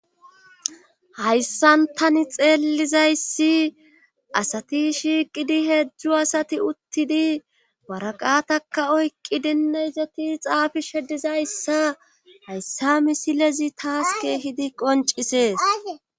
hayssan tani xeellizayssi asati shiiqidi heedzdzu asati uttidi waraqataka oykqqi denna izati xaafi shedizayssa hayssa misilezi taas keehidi qoncisees